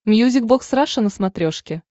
мьюзик бокс раша на смотрешке